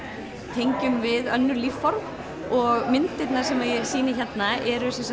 tengjum við önnur lífform og myndirnar sem ég sýni hérna eru